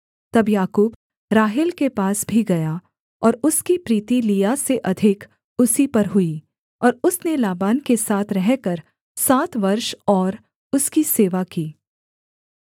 तब याकूब राहेल के पास भी गया और उसकी प्रीति लिआ से अधिक उसी पर हुई और उसने लाबान के साथ रहकर सात वर्ष और उसकी सेवा की